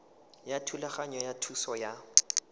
ya thulaganyo ya thuso ya